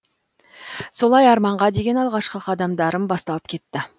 солай арманға деген алғашқы қадамдарым басталып кетті